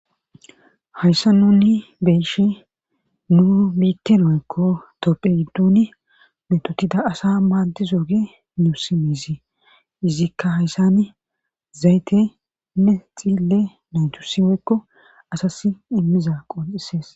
Hayssa nuni beeshe nu miitte noekko topphe giddun metotida asa maaddizoge nius miizi izikka hayssan zaytenne xille naycu siweykko asas immiza qol7isees.